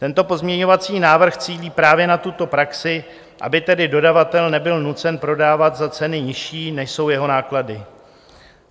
Tento pozměňovací návrh cílí právě na tuto praxi, aby tedy dodavatel nebyl nucen prodávat za ceny nižší, než jsou jeho náklady.